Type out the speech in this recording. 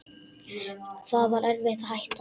Það var erfitt að hætta.